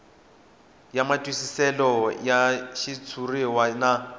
ya matwisiselo ya xitshuriwa na